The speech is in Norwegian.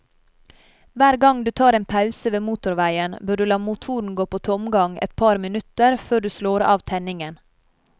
Hver gang du tar en pause ved motorveien, bør du la motoren gå på tomgang et par minutter før du slår av tenningen.